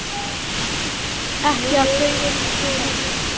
Ekki að þau yrðu svo mörg.